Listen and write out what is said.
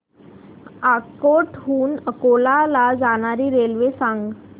अकोट हून अकोला ला जाणारी रेल्वे सांग